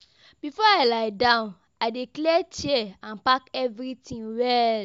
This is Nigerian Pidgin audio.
Before I lie down, I dey clear chair and pack everything well.